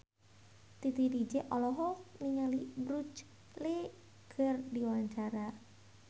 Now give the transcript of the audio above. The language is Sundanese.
Titi DJ olohok ningali Bruce Lee keur diwawancara